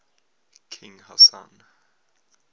king hassan